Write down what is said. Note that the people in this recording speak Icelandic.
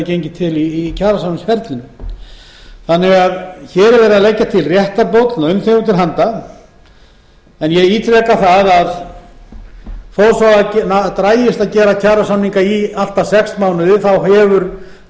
gengið til í kjarasamningsferlinu hér er því verið að leggja til réttarbót launþegum til handa en ég ítreka að þó svo að það dragist að gera kjarasamninga í allt að sex mánuði hefur